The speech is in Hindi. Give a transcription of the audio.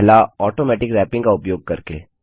पहला ऑटोमेटिक रैपिंग का उपयोग करके